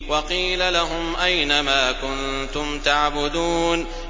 وَقِيلَ لَهُمْ أَيْنَ مَا كُنتُمْ تَعْبُدُونَ